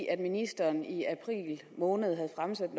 at ministeren i april måned havde fremsat